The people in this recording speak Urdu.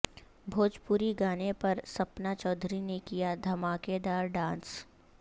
بھوجپوری گانے پر سپنا چودھری نے کیا دھماکہ دار ڈانس